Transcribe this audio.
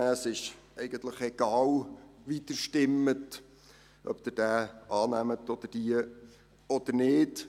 Es ist eigentlich egal, wie Sie abstimmen, ob Sie diese Anträge annehmen oder nicht.